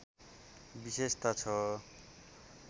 विशेषता छ